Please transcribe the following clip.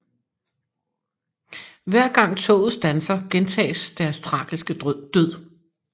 Hver gang toget standser gentages deres tragiske død